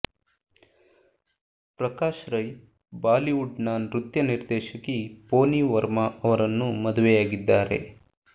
Prakash Rai Bollywood ನ ನೃತ್ಯ ನಿರ್ದೇಶಕಿ ಪೋನಿ ವರ್ಮಾ ಅವರನ್ನು ಮದುವೆಯಾಗಿದ್ದಾರೆ